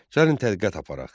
Gəlin tədqiqat aparaq.